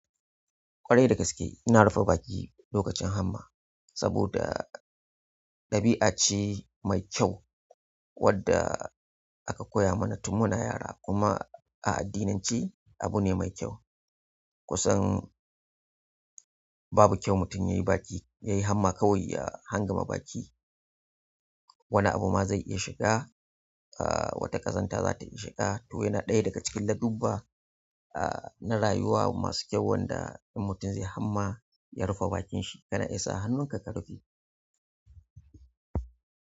Ƙwarai da gaske ina rufe baki lokacin hamma saboda ɗabi'a ce mai kyau wadda aka koya mana tun muna yara kuma a addinance abu ne mai kyau. Kusan babu kyau mutum yayi baki, yayi hamma kawai ya hangama baki. Wani abu ma zai iya shiga, ah wata ƙazanta za ta iya shiga to yana ɗaya daga cikin ladubba ah na rayuwa masu kyau wanda in mutum zai hamma ya rufe bakin shi kana isa hannun ka ka rufe.